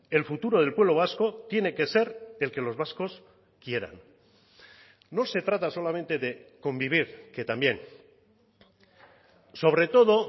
el futuro del pueblo vasco tiene que ser el que los vascos quieran no se trata solamente de convivir que también sobre todo